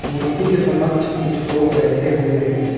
मूर्ति के समक्ष कुछ लोग बैठे हुए हैं।